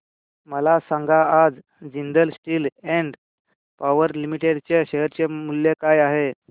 मला सांगा आज Jindal steel and power limited च्या शेअर चे मूल्य काय आहे